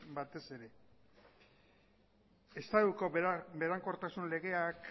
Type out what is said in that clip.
batez ere estatuko berankortasun legeak